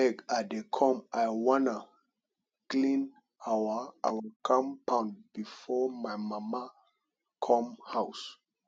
abeg i dey come i wan clean our our compound before my mama come house